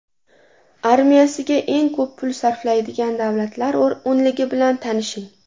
Armiyasiga eng ko‘p pul sarflaydigan davlatlar o‘nligi bilan tanishing.